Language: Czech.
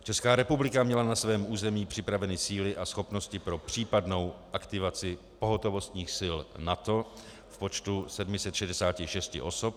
Česká republika měla na svém území připraveny síly a schopnosti pro případnou aktivaci pohotovostních sil NATO v počtu 766 osob a OSN v počtu do 50 osob.